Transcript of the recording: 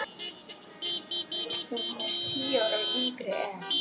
Ertu nokkuð með sand af seðlum. í alvöru?